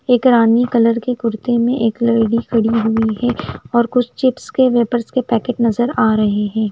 एक रानी कलर की कुर्ती में एक लेडी खड़ी हुई है और कुछ चिप्स के वेफर्स पैकेट्स नज़र आरहे है।